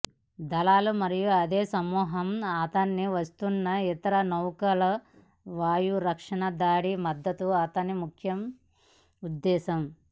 దళాలు మరియు అదే సమూహం అతనికి వస్తున్న ఇతర నౌకలు వాయు రక్షణ దాడి మద్దతు అతని ముఖ్య ఉద్దేశ్యం